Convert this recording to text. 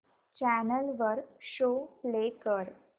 channel वर show play कर